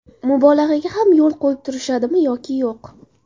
Mubolag‘aga ham yo‘l qo‘yib turishadimi yoki yo‘q?